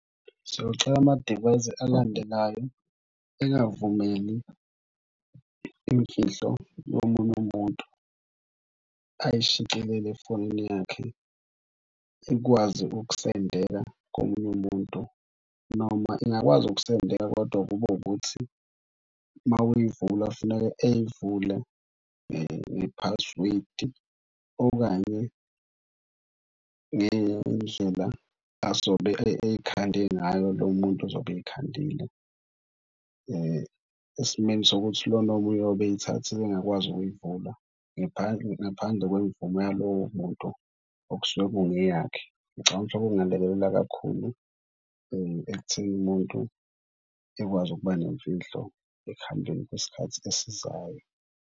Siyocela amadivayisi alandelayo engavumeli imfihlo yomunye umuntu ayishicilele efonini yakhe. Ikwazi ukusendela komunye umuntu noma ingakwazi ukusendeka. Kodwa kube ukuthi uma uyivula funeke eyivule ngephasiwedi okanye ngendlela azobe ey'khande ngayo lo muntu ozobe ey'khandile. Esimeni sokuthi lona omunye oyobe ey'thathile engakwazi ukuyivula ngaphandle kwemvumo yalowo muntu okusuke kungeyakhe. Ngicabanga lokho kungalekelela kakhulu ekutheni umuntu ekwazi ukuba nemfihlo ekuhambeni kwesikhathi esizayo.